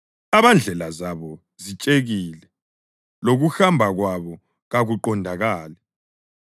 abandlela zabo zitshekile lokuhamba kwabo kakuqondakali.